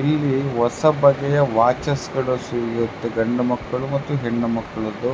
ಇಲ್ಲಿ ಹೊಸಬಗೆಯ ವಾಚು ಸಿಗುತ್ತದೆ ಗಂಡು ಮಕ್ಕಳಿಗೆ ಮತ್ತು ಹೆಣ್ಣು ಮಕ್ಕಳಿಗೆ